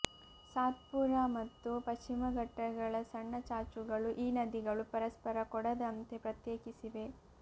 ಸಾತ್ಪುರಾ ಮತ್ತು ಪಶ್ಚಿಮ ಘಟ್ಟಗಳ ಸಣ್ಣ ಚಾಚುಗಳು ಈ ನದಿಗಳು ಪರಸ್ಪರ ಕೂಡದಂತೆ ಪ್ರತ್ಯೇಕಿಸಿವೆ